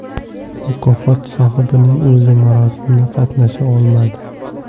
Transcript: Mukofot sohibining o‘zi marosimda qatnasha olmadi.